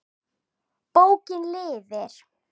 Bókin lifir!